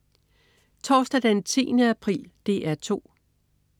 Torsdag den 10. april - DR 2: